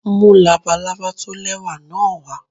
Mú labalábá tó lẹ́wà náà wá.